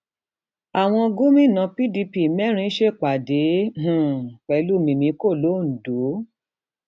àwọn gómìnà pdp mẹrin ṣèpàdé um pẹlú mímíkò londo